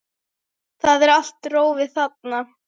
Það er allt rófið þarna.